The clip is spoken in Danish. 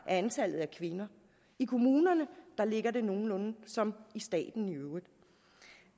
antallet af kvinder i kommunerne ligger det nogenlunde som i staten